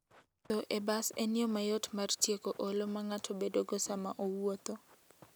Wuotho e bas en yo mayot mar tieko olo ma ng'ato bedogo sama owuotho.